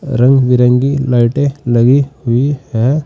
रंग बिरंगी लाइटें लगी हुई हैं।